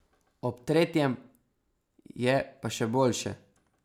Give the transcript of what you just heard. Ob tretjem je pa še boljše.